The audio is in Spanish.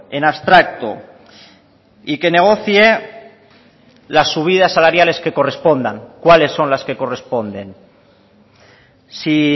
en abstracto y que negocie las subidas salariales que correspondan cuáles son las que corresponden sí